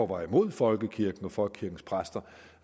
var imod folkekirken og folkekirkens præster